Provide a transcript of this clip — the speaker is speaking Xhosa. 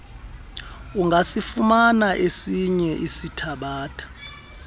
ungasifumana esinye esithabatha